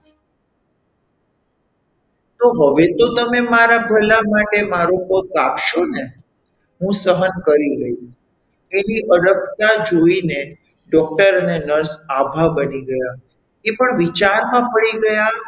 તો હવે તો તમે મારા ભલા માટે મારો પગ કાપશો ને હું સહન કરી લઈશ એવી અડગતા જોઈને doctor અને nurse આભા બની ગયા એ પણ વિચારમાં પડી ગયા,